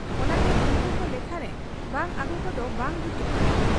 ᱚᱱᱟᱛᱮ ᱩᱱᱠᱩᱠᱚ ᱞᱮᱠᱷᱟᱨᱮ ᱵᱟᱝ ᱟᱹᱜᱩᱠᱚᱫᱚ ᱵᱟᱝ ᱡᱩᱛᱚᱜ ᱠᱟᱱᱟ ᱾